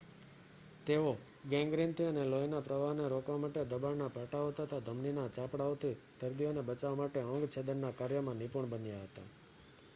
તેઓ ગૅંગ્રીનથી અને લોહીના પ્રવાહને રોકવા માટે દબાણ પાટાઓ તથા ધમનીના ચાપડાઓથી દર્દીઓને બચાવવા માટે અંગ છેદનનાં કાર્યમાં નિપુણ બન્યા હતા